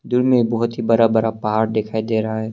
दूर में एक बहुत ही बड़ा बड़ा पहाड़ दिखाई दे रहा है।